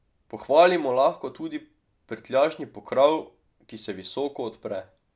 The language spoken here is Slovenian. Pohvalimo lahko tudi prtljažni pokrov, ki se visoko odpre.